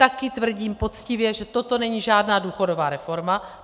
Taky tvrdím poctivě, že toto není žádná důchodová reforma.